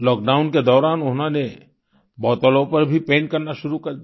lockdown के दौरान उन्होंने बोतलों पर भी पैंट करना शुरू कर दिया